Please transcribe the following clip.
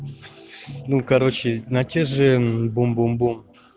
ну короче на те же бум-бум-бум